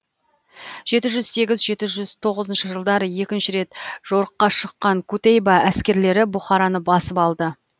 жеті жүз сегіз жеті жүз тоғыз жылдары екінші рет жорыққа шыққан кутейба әскерлері бұхараны басып алды